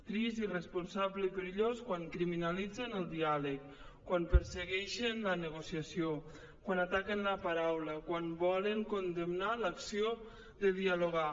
trist irresponsable i perillós quan criminalitzen el diàleg quan persegueixen la negociació quan ataquen la paraula quan volen condemnar l’acció de dialogar